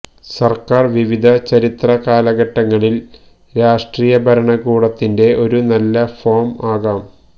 സർക്കാർ വിവിധ ചരിത്ര കാലഘട്ടങ്ങളിൽ ൽ രാഷ്ട്രീയ ഭരണകൂടത്തിന്റെ ഒരു നല്ല ഫോം ആകാം